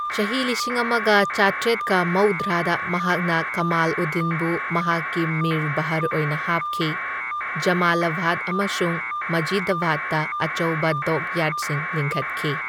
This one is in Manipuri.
ꯆꯍꯤ ꯂꯤꯁꯤꯡ ꯑꯃꯒ ꯆꯥꯇ꯭ꯔꯦꯠꯀ ꯃꯧꯗ꯭ꯔꯥꯗ ꯃꯍꯥꯛꯅ ꯀꯃꯥꯜꯎꯗꯗꯤꯟꯕꯨ ꯃꯍꯥꯛꯀꯤ ꯃꯤꯔ ꯕꯍꯔ ꯑꯣꯏꯅ ꯍꯥꯞꯈꯤ, ꯖꯃꯂꯥꯕꯥꯗ ꯑꯃꯁꯨꯡ ꯃꯖꯤꯗꯥꯕꯥꯗꯇ ꯑꯆꯧꯕ ꯗꯣꯛꯌꯥꯔꯗꯁꯤꯡ ꯂꯤꯡꯈꯠꯈꯤ꯫